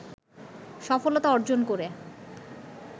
সফলতা অর্জন করে